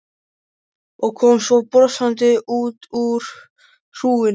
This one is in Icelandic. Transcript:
Og kom svo brosandi út úr hrúgunni.